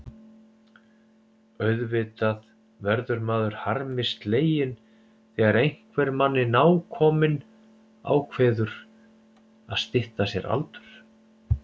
Auðvitað verður maður harmi sleginn þegar einhver manni nákominn ákveður að stytta sér aldur.